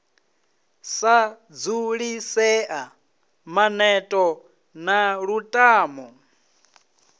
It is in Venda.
sa dzulisea maneto na lutamo